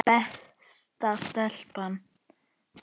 Besta stelpa.